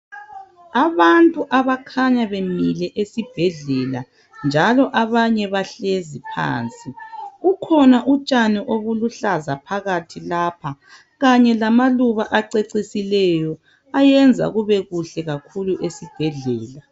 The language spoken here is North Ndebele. Abantu abakhanya bemile esibhedlela njalo abanye bahlezi phansi. Kukhona utshani obulu hlaza phakathi lapho kanye lamaluba acecisileyo ayenza kube kuhle kakhulu esibhedlela.